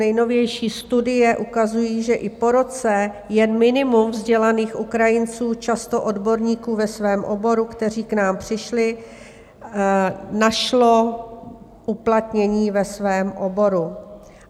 Nejnovější studie ukazují, že i po roce jen minimum vzdělaných Ukrajinců, často odborníků ve svém oboru, kteří k nám přišli, našlo uplatnění ve svém oboru.